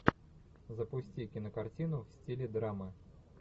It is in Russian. запусти кинокартину в стиле драмы